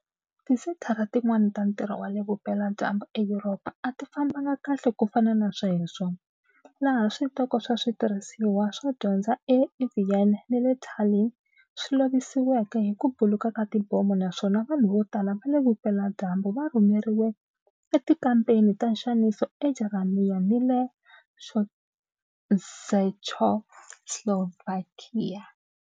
Tisenthara tin'wana ta ntirho wa le Vupela-dyambu eYuropa a ti fambanga kahle ku fana na sweswo, laha switoko swa switirhisiwa swo dyondza eVienna ni le Tallinn swi lovisiweke hi ku buluka ka tibomo naswona vanhu vo tala va le Vupela-dyambu va rhumeriwe etikampeni ta nxaniso eJarimani ni le Czechoslovakia.